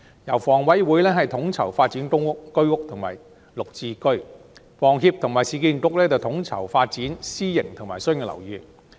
由房委會統籌發展公屋、居屋及綠置居，由房協及市建局統籌發展私營及商業樓宇。